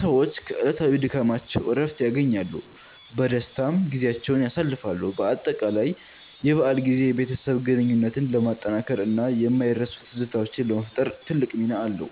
ሰዎች ከዕለታዊ ድካማቸው እረፍት ያገኛሉ፣ በደስታም ጊዜያቸውን ያሳልፋሉ። በአጠቃላይ የበዓል ጊዜ የቤተሰብ ግንኙነትን ለማጠናከር እና የማይረሱ ትዝታዎችን ለመፍጠር ትልቅ ሚና አለው።